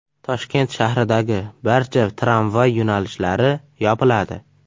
Toshkent shahridagi barcha tramvay yo‘nalishlari yopiladi.